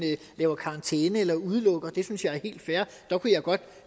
giver karantæne eller udelukker det synes jeg er helt fair der kunne jeg godt